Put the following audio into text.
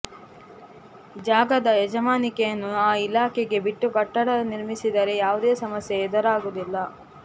ಜಾಗದ ಯಜಮಾನಿಕೆಯನ್ನು ಆ ಇಲಾಖೆಗೆ ಬಿಟ್ಟು ಕಟ್ಟಡ ನಿರ್ಮಿಸಿದರೆ ಯಾವುದೇ ಸಮಸ್ಯೆ ಎದುರಾಗುವುದಿಲ್ಲ